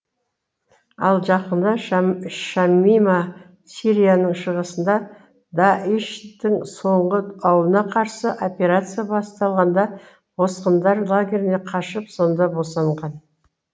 ал жақында шамима сирияның шығысында даиш тың соңғы ауылына қарсы операция басталғанда босқындар лагеріне қашып сонда босанған